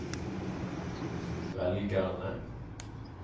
velgerne